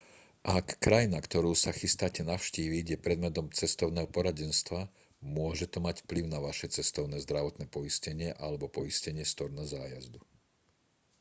ak krajina ktorú sa chystáte navštíviť je predmetom cestovného poradenstva môže to mať vplyv na vaše cestovné zdravotné poistenie alebo poistenie storna zájazdu